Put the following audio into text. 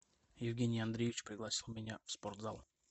евгений андреевич пригласил меня в спортзал